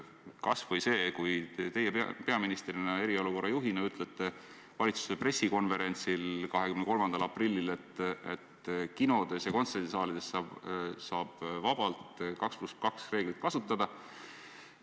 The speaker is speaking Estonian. Kas või see, et teie peaministrina ja eriolukorra juhina ütlesite valitsuse pressikonverentsil 23. aprillil, et kinodes ja kontserdisaalides saab vabalt 2 + 2 reeglit kasutada.